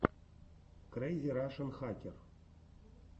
крэйзи рашен хакер